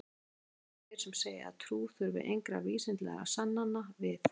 að lokum eru þeir sem segja að trú þurfi engra vísindalegra sannana við